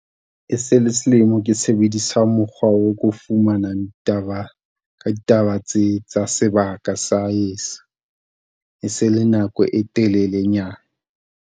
E se le selemo ke sebedisa mokgwa o ko fumanang ditaba ka ditaba tse tsa sebaka sa heso e se le nako e telelenyana.